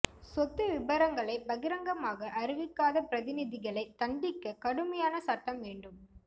சொத்து விபரங்களை பகிரங்கமாக அறிவிக்காத பிரதிநிதிகளை தண்டிக்க கடுமையான சட்டம் வேண்டும்